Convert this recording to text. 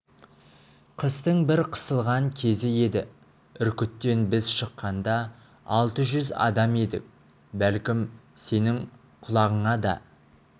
қыстың бір қысылған кезі еді үркіттен біз шыққанда алты жүз адам едік бәлкім сенің құлағыңа да